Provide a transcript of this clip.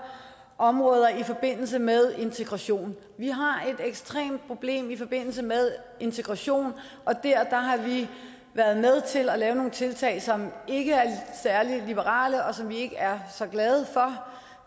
områder i forbindelse med integration vi har et ekstremt problem i forbindelse med integration og der har vi været med til at lave nogle tiltag som ikke er særlig liberale og som vi ikke er så glade for